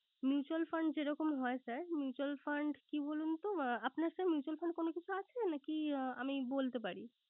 Mutual fund যে রকম হয় sir, mutual fund কি বলুন তো। আপনার sir mutual fund কোন কিছু আছে নাকি আমি বলতে পারি